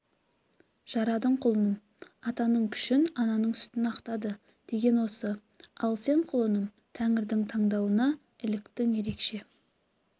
жарадың құлыным атаның күшін ананың сүтін ақтады деген осы ал сен құлыным тәңірдің таңдауына іліктің ерекше